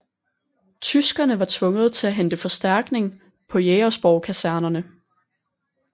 Tyskerne var tvunget til at hente forstærkning på Jægersborg Kaserne